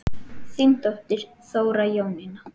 Þín dóttir, Þóra Jónína.